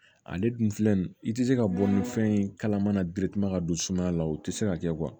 Ale dun filɛ nin ye i tɛ se ka bɔ ni fɛn ye kalama ka don sumaya la o tɛ se ka kɛ